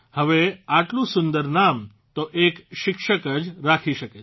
હવે આટલું સુંદર નામ તો એક શિક્ષક જ રાખી શકે છે